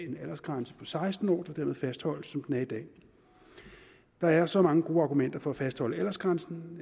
en aldersgrænse på seksten år der derved fastholdes som den er i dag der er så mange gode argumenter for at fastholde aldersgrænsen